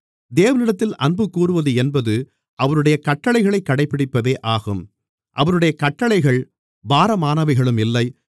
தேவனிடத்தில் அன்‌புகூறுவது என்பது அவருடைய கட்டளைகளைக் கடைபிடிப்பதே ஆகும் அவருடைய கட்டளைகள் பாரமானவைகளும் இல்லை